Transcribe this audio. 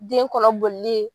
Den kɔnɔ bolili ye.